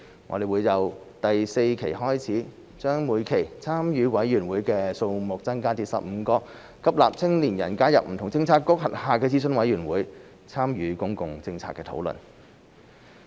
我們將會由第四期開始，把每期參與委員會的數目增加至15個，吸納青年人加入不同政策局轄下的諮詢委員會，參與公共政策討論。